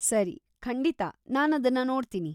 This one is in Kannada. ಸರಿ, ಖಂಡಿತಾ, ನಾನದನ್ನ ನೋಡ್ತೀನಿ.